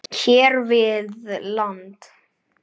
hér við land.